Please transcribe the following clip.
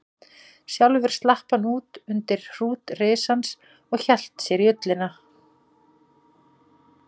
Sjálfur slapp hann út undir hrút risans og hélt sér í ullina.